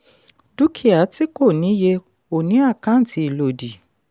dúkìá tí kò ní iye ò ní àkàǹtì ìlòdì.